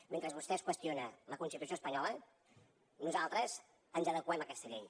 mentre vostès qüestionen la constitució espanyola nosaltres ens adeqüem a aquesta llei